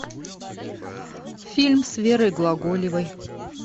фильм с верой глаголевой